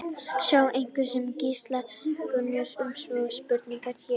Sjá einnig svar Gísla Gunnarssonar við sömu spurningu, hér.